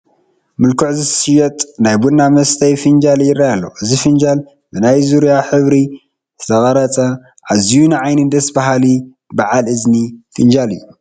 ምልኩዕ ዝሽየጥ ናይ ቡና መስተይ ፊንጃል ይረአ ኣሎ፡፡ እዚ ፊንጃል ብናይ ዙርያ ሕብሪ ዝተቐረፀ ኣዝዩ ንዓይኒ ደስ ባሃሊ ባዓል እዝኒ ፊንጃል እዩ፡፡